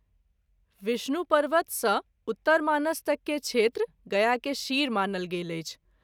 विष्णु पर्वत सँ उत्तरमानस तैक के क्षेत्र गया के शिर मानल गेल अछि।